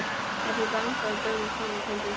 Pabbi bankaði og gömul kona kom til dyra.